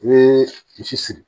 I bɛ misi siri